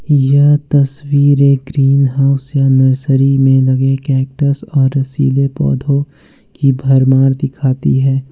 यह तस्वीर ग्रीनहाउस या नर्सरी में लगे कैक्टस और रसीले पौधों की भरमार दिखती है।